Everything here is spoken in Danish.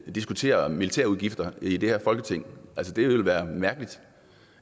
diskutere militærudgifter i det her folketing altså det ville jo være mærkeligt